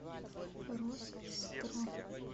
росстро